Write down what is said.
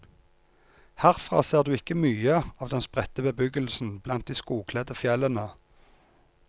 Herfra ser du ikke mye av den spredte bebyggelsen blant de skogkledde fjellene.